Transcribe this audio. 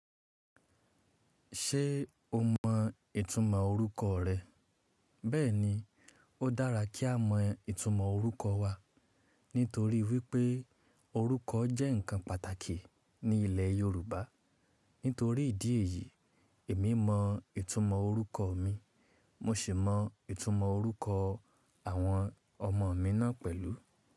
Ṣé o mọ ìtumọ̀ orúkọ rẹ? Bẹ́ẹ̀ni, ó dára kí á mọ ìtumọ̀ orúkọ wa, nítorí wípé orúkọ jẹ́ ǹkan pàtàkì ní ilẹ̀ Yorùbá. Nítorí ìdí èyí, èmi mọ ìtumọ̀ orúkọ mi, mo sì mọ ìtumọ̀ orúkọ àwọn ọmọ mi náà pẹ̀lú.